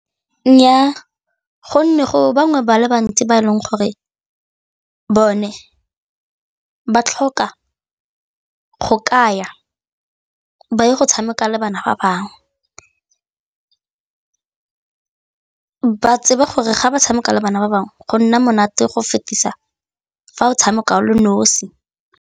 Nnyaa, gonne go bangwe ba le bantsi ba e leng gore bone ba tlhoka go ka ya ba ye go tshameka le bana ba bangwe, ba tsebe gore ga ba tshameka le bana ba bangwe go nna monate go fetisa fa o tshameka o le nosi.